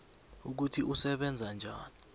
ukuthi usebenza njani